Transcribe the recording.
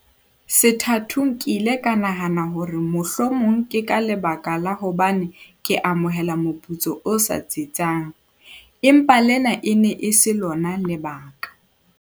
"Sethathong ke ile ka nahana hore mohlomong ke ka lebaka la hobane ke amohela moputso o sa tsitsang, empa lena e ne e se lona lebaka."